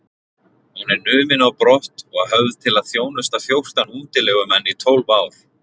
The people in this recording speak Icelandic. Hún er numin á brott og höfð til að þjónusta fjórtán útilegumenn í tólf ár.